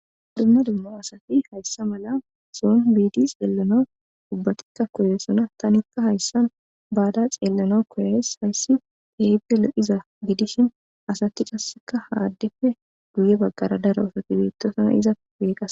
adumma dumma asati hayssa mala soun biidi xeellona dubbatikka koye sona tanikka hayssan baada xeellana koyays hayssi eype lo7iza gidishin asati kasseka haaddefe guye baggara daro osotibeettosana iza peeqa